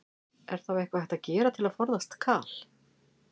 Er þá eitthvað hægt að gera til að forðast kal?